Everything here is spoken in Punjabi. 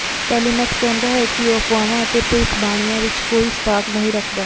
ਟੈਲੀਮੈਕਸ ਕਹਿੰਦਾ ਹੈ ਕਿ ਉਹ ਅਫਵਾਹਾਂ ਅਤੇ ਭਵਿੱਖਬਾਣੀਆਂ ਵਿੱਚ ਕੋਈ ਸਟਾਕ ਨਹੀਂ ਰੱਖਦਾ